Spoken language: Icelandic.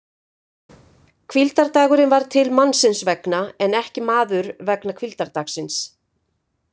Hvíldardagurinn varð til mannsins vegna en ekki maður vegna hvíldardagsins!